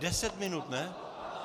Deset minut, ne?